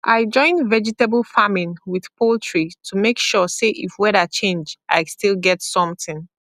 i join vegetable farming with poultry to make sure say if weather change i still get something